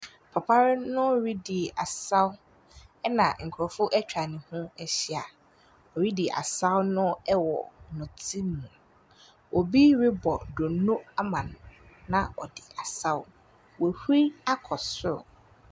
Papa no redi asaw, ɛnna nkurɔfo atwa ne ho ahyia. Woridi asaw no wɔ nnɛte mu. Obi rebɔ donno ama no, na ɔde asaw. Wahuru akɔ soro.